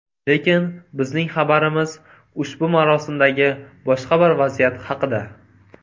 Lekin bizning xabarimiz ushbu marosimdagi boshqa bir vaziyat haqida.